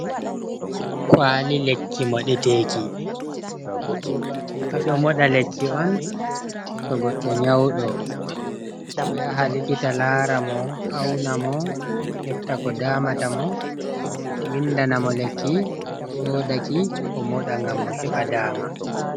Kwali lekki moɗeteki ɓe ɗo moɗa lekki on to goɗɗo nyauɗo o yaha likita lara mo auna mo hefta ko damata mo windana mo lekki o soda ki o moɗa ngam o heɓa daama.